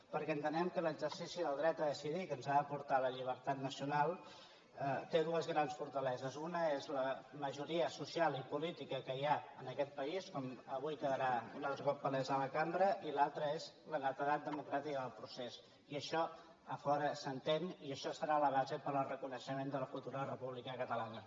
perquè entenem que l’exercici al dret a decidir que ens ha de portar la llibertat nacional té dues grans fortaleses una és la majoria social i política que hi ha en aquest país com avui quedarà palès a la cambra i l’altra és la netedat democràtica del procés i això a fora s’entén i això serà la base per al reconeixement de la futura república catalana